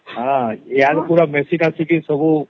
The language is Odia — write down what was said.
ହଁ ଆଗତୁରା ଖେସି ଖାସି କିରି ସବୁ